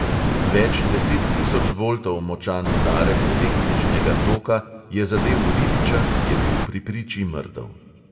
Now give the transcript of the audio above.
Več deset tisoč voltov močan udarec električnega toka je zadel ribiča, ki je bil pri priči mrtev.